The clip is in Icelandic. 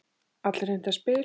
Allir heimta spil.